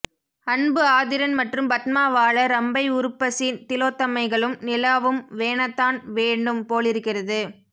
அன்பு ஆதிரன் மற்றும் பத்மா வாழ ரம்பை உருப்பசி திலோத்தமைகளும் நிலாவும் வேணத்தான் வேணும் போலிருக்கிறது